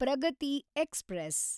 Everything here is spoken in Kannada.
ಪ್ರಗತಿ ಎಕ್ಸ್‌ಪ್ರೆಸ್